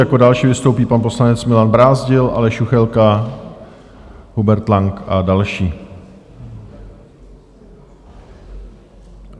Jako další vystoupí pan poslanec Milan Brázdil, Aleš Juchelka, Hubert Lang a další.